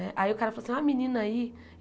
Né aí o cara falou assim, ó, menina aí.